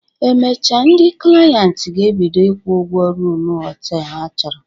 Emechaa, ndị klient ga-ebido ịkwụ ụgwọ ruum họtelu ha chọrọ